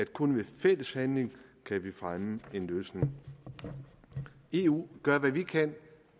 kun ved fælles handling kan fremme en løsning eu gør hvad vi kan